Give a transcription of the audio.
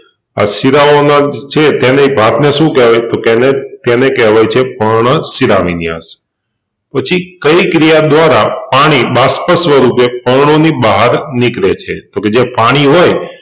આ શિરાઓના છે તેની ભાતને શું કેહવાય તોકે એને કેહવાય છે પર્ણશિરાવિન્યાસ પછી કઈ ક્રિયા દ્વારા પાણી બાષ્પ સ્વરૂપે પર્ણોની બહાર નિકળે છે જે પાણી હોય